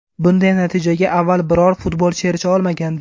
Bunday natijaga avval biror futbolchi erisha olmagandi .